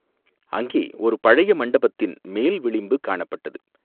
அங்கே ஒரு பழைய மண்டபத்தின் மேல் விளிம்பு காணப்பட்டது.